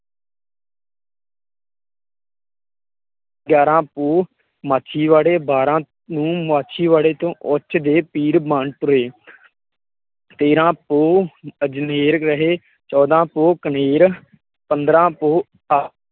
ਗਿਆਰਾਂ ਪੋਹ ਮਾਛੀਵਾੜੇ ਬਾਰ੍ਹਾਂ, ਬਾਰਾਂ ਪੋਹ ਮਾਛੀਵਾੜੇ ਤੋਂ ਉਚ ਦੇ ਪੀਰ ਬਣ ਟੁਰੇ, ਤੇਰਾਂ ਪੋਹ ਅਜਨੇਰ ਰਹੇ, ਚੌਂਦਾ ਪੋਹ ਕਨੇਰ, ਪੰਦਰ੍ਹਾਂ ਪੋਹ